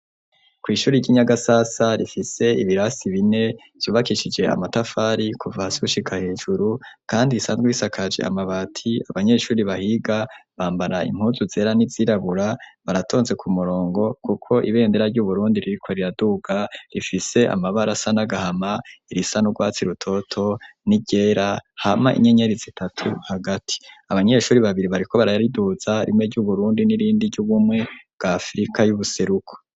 Kw'ishuri ry'inyagasasa rifise ibirasi bine vyubakishije amatafari kuvahasushika hejuru, kandi risanzwe bisakaje amabati abanyeshuri bahiga bambara impuzu zera ni zirabura baratonze ku murongo, kuko ibendera ry'uburundi ririkwa riraduga rifise amabara sa n'agahama irisa n'urwatsi rua toto ni ryera hama inyenyerizi itatu hagati abanyeshuri babiri bariko baraariduza rimwe ry'uburundi n'irindi ry'ugumwe bwafrika y'ubuseruko.